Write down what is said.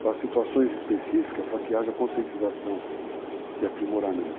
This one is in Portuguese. para situações específicas, para que haja conscientização de aprimoramento.